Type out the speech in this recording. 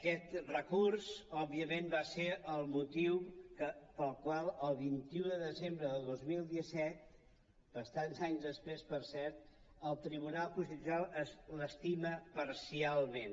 aquest recurs òbviament va ser el motiu pel qual el vint un de desembre de dos mil disset bastants anys després per cert el tribunal constitucional l’estima parcialment